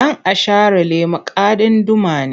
Dan’asharalle makadin Duma ne.